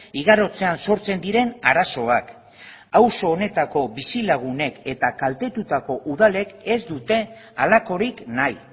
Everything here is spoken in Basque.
igarotzean sortzen diren arazoak auzo honetako bizilagunek eta kaltetutako udalek ez dute halakorik nahi